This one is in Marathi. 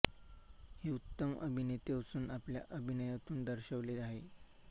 हे उत्तम अभिनेते असून आपल्या अभिनयातून दर्शवले आहे